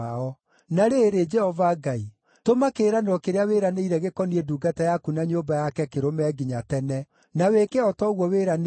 “Na rĩrĩ, Jehova Ngai, tũma kĩĩranĩro kĩrĩa wĩranĩire gĩkoniĩ ndungata yaku na nyũmba yake kĩrũme nginya tene. Na wĩke o ta ũguo wĩranĩire,